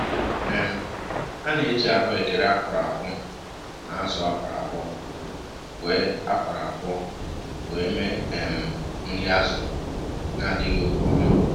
um A na eji ahụekere akwọrọ akwọ na azụ akwọrọ akwọ wee akwọrọ akwọ wee mee um nri azu na adighi oke ọnụ